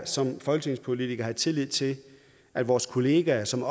som folketingspolitikere have tillid til at vores kollegaer som